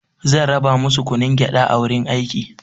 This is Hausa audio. Zan raba masu kunun gyaɗa a wurin aiki.